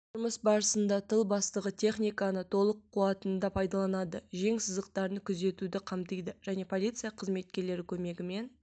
жұмыс барысында тыл бастығы техниканы толық қуатында пайдаланады жең сызықтарын күзетуді қамтиды және полиция қызметкерлері көмегімен